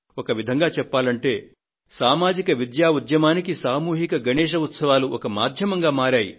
ఒక విధంగా చెప్పాలంటే సామాజిక విద్యా ఉద్యమానికి సామూహిక గణేశ్ ఉత్సవాలు ఒక మాధ్యమంగా మారాయి